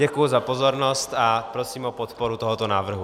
Děkuji za pozornost a prosím o podporu tohoto návrhu.